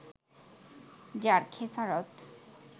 যার খেসারত